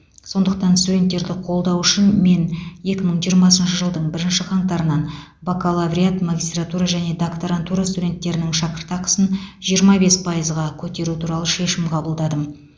сондықтан студенттерді қолдау үшін мен екі мың жиырмасыншы жылдың бірінші қаңтарынан бакалавриат магистратура және докторантура студенттерінің шәкіртақысын жиырма бес пайызға көтеру туралы шешім қабылдадым